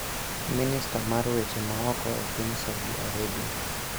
Minista mar Weche Ma oko e Piny Saudi Arabia